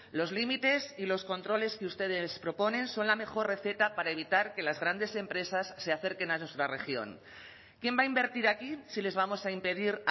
los límites y los controles que ustedes proponen son la mejor receta para evitar que las grandes empresas se acerquen a nuestra región quién va a invertir aquí si les vamos a impedir